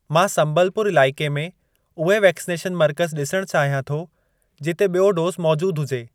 मां सम्बलपुर इलाइके में उहे वैक्सनेशन मर्कज़ ॾिसण चाहियां थो, जिते बि॒यों डोज़ मौजूद हुजे।